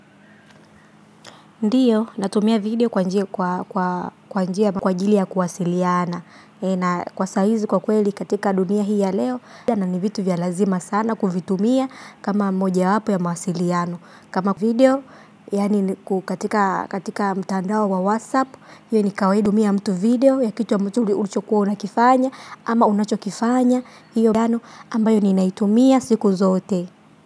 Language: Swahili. Ndiyo, natumia video kwa njia kwa njia kwa ajiri ya kuwasiliana. Na kwa saizi kwa kweli katika dunia hii ya leo, tena vitu vya lazima sana kuvitumia kama moja wapo ya mawasiliano. Kama video, yani katika mtandao wa WhatsApp, hiyo ni kawaida kutumia mtu video ya kitu ulichokuwa unakifanya, ama unachokifanya, hiyo mdano ambayo ni naitumia siku zote.